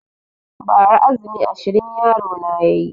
Ba ra azumi ashirin yaro na yayi